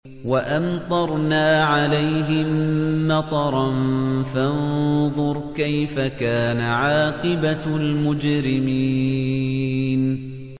وَأَمْطَرْنَا عَلَيْهِم مَّطَرًا ۖ فَانظُرْ كَيْفَ كَانَ عَاقِبَةُ الْمُجْرِمِينَ